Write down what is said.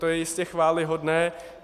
To je jistě chvályhodné.